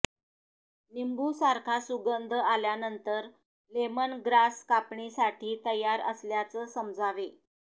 नींबू सारखा सुगंध आल्यानंतर लेमन ग्रास कापणीसाठी तयार असल्याचं समजावे